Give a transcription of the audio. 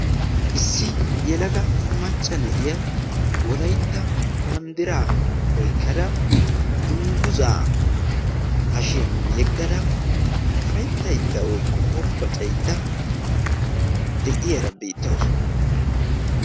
Issi yelaga macca na'iyaa wolaytta banddira oykkada dungguza hashshiyaan yeegada ufayttada woykko hombboccaydda de'iyaara beettawusu.